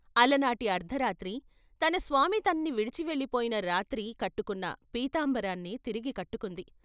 అలనాటి అర్ధరాత్రి తన స్వామి తన్ని విడిచి వెళ్ళిపోయిన రాత్రి కట్టుకున్న పీతాంబరాన్నే తిరిగి కట్టుకుంది.